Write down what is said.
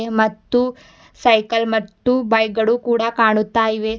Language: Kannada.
ಮತ್ತು ಸೈಕಲ್ ಮತ್ತು ಬೈಕ್ ಗಳು ಕೂಡ ಕಾಣುತ್ತ ಇವೆ.